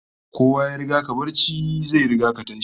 Kowa ya riga ka barci, zai riga ka tashi